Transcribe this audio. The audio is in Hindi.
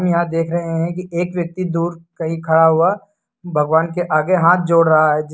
यहां देख रहे हैं कि एक व्यक्ति दूर कहीं खड़ा हुआ भगवान के आगे हाथ जोड़ रहा है।